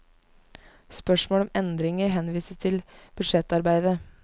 Spørsmål om endringer henvises til budsjettarbeidet.